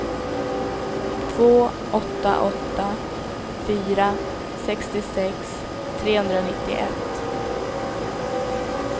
två åtta åtta fyra sextiosex trehundranittioett